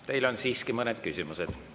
Teile on siiski mõned küsimused.